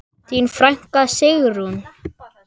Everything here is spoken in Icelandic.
Þín frænka, Sigrún.